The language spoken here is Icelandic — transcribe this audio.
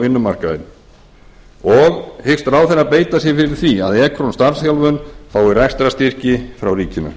vinnumarkaðinn annars hyggst ráðherra beita sér fyrir því að ekron starfsþjálfun fái rekstrarstyrki frá ríkinu